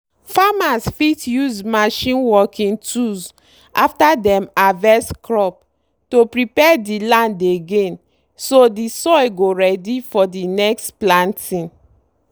farmers fit use machine working tools after dem harvest crop to prepare the land again so the soil go ready for the next planting.